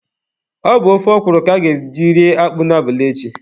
Ọ bụ ofe ọkwụrụ ka a ga-eji rie akpụ a n'abalị echi.